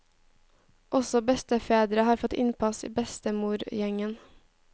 Også bestefedre har fått innpass i bestemorgjengen.